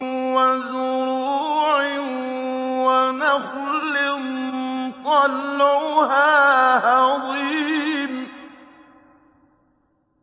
وَزُرُوعٍ وَنَخْلٍ طَلْعُهَا هَضِيمٌ